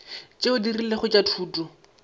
tšeo di rilego tša thuto